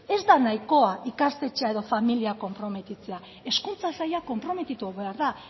ez da nahikoa ikastetxea edo familia konprometitzea hezkuntza saila konprometitu behar da